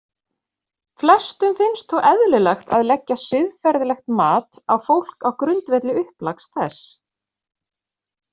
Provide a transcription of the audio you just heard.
Flestum finnst þó eðlilegt að leggja siðferðilegt mat á fólk á grundvelli upplags þess.